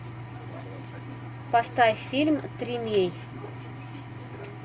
поставь фильм тримей